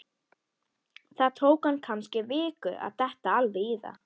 Það tók hann kannski viku að detta alveg í það.